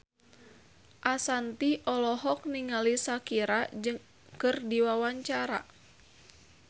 Ashanti olohok ningali Shakira keur diwawancara